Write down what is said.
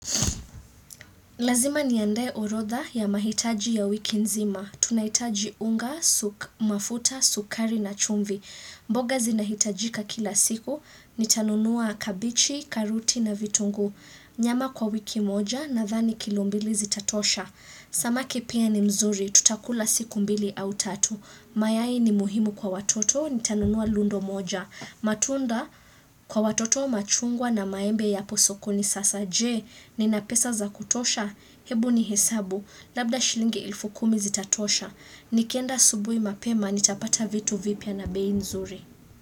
Lazima niandae orodha ya mahitaji ya wiki nzima. Tunahitaji unga, mafuta, sukari na chumvi. Mboga zinahitajika kila siku. Nitanunua kabichi, karuti na vitungu. Nyama kwa wiki moja nadhani kilo mbili zitatosha. Samaki pia ni mzuri. Tutakula siku mbili au tatu. Mayai ni muhimu kwa watoto. Nitanunua lundo moja. Matunda kwa watoto machungwa na maembe yapo sokoni sasa je Nina pesa za kutosha Hebu ni hesabu Labda shilingi elfu kumi zitatosha Nikienda asubui mapema Nitapata vitu vipya na bei nzuri.